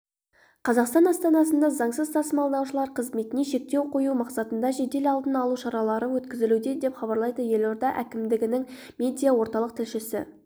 қазақстан астанасында заңсыз тасымалдаушылар қызметіне шектеу қою мақсатында жедел алдын алу шаралары өткізілуде деп хабарлайды елорда әкімдігінің медиа орталық тілшісі